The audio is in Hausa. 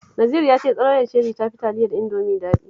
Naziru ya ce tsaloyar Cherry ta fi taliyar Indomie daɗi